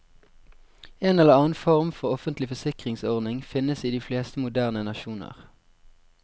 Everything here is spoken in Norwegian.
En eller annen form for offentlig forsikringsordning finnes i de fleste moderne nasjoner.